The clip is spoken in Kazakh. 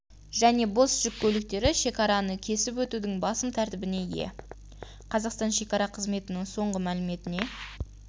және бос жүк көліктері шекараны кесіп өтудің басым тәртібіне ие қазақстан шекара қызметінің соңғы мәліметіне